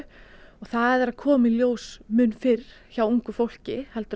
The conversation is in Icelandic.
og það er að koma í ljós mun fyrr hjá ungu fólki en